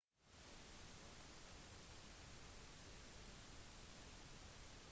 nøytroner og protoner utgjør kjernen